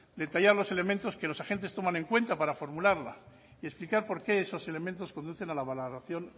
detallar los elementos que los agentes toman en cuenta para formularla y explicar por qué esos elementos conducen a la valoración